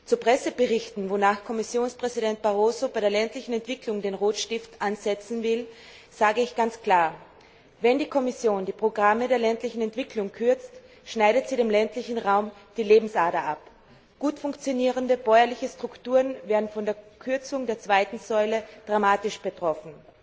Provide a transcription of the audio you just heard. Zu Presseberichten, wonach Kommissionspräsident Barroso bei der ländlichen Entwicklung den Rotstift ansetzen will, sage ich ganz klar Wenn die Kommission die Programme der ländlichen Entwicklung kürzt, schneidet sie dem ländlichen Raum die Lebensader ab. Gut funktionierende bäuerliche Strukturen wären von der Kürzung im Rahmen der zweiten Säule dramatisch betroffen.